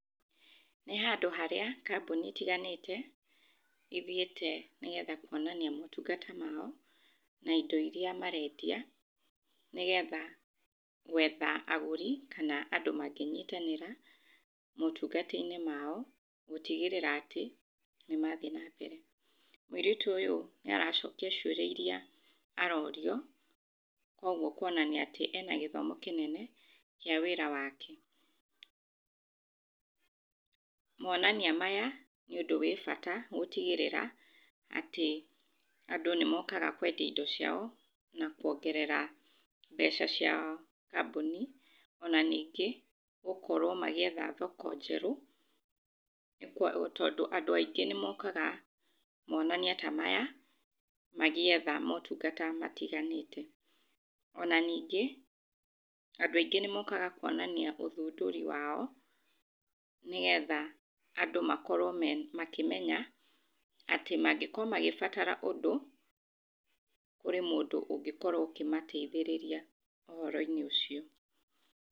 Nĩhandũ harĩa kambuni itiganĩte ithiĩte nĩgetha kuonania motungata mao, naindo iria marendia nĩgetha gwetha agũri kana andũ mangĩnyitanĩra mootungata-inĩ mao gũtigĩrĩra atĩ nĩmathiĩ na mbere, mũirĩtu ũyũ nĩaracokia ciũria iria arorio koguo kuonania atĩ ena gĩthomo kĩnene kĩa wĩra wake, moonania maya nĩ ũndũ wĩ bata gũtigĩrĩra atĩ andũ nĩ mookaga kwendia indo ciao na kũongerera mbeca cia kambuni ona ningĩ gũkorwo magĩetha thoko njerũ tondũ andũ aingĩ nĩmokaga moonania ta maya magĩetha motungata matiganĩte, ona ningĩ andũ aingĩ nĩmokaga kuonania ũthundũri wao nĩgetha andũ makorwo makimenya atĩ mangĩkorwo magĩbatara ũndũ, kũrĩ mũndũ ũngĩkorwo akĩmateithĩrĩria ũhoro-inĩ ũcio.